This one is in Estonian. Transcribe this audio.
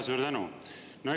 Suur tänu!